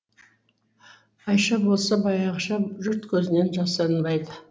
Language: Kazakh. айша болса баяғыша жұрт көзінен жасырынбайды